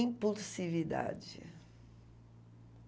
Impulsividade.